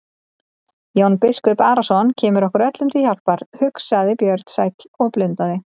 Jón biskup Arason kemur okkur öllum til hjálpar, hugsaði Björn sæll og blundaði.